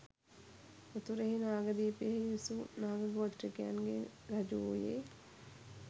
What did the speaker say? උතුරෙහි නාගදීපයෙහි විසු නාග ගෝත්‍රිකයන්ගේ රජු වූයේ